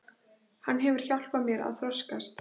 Hann hefur hjálpað mér að þroskast.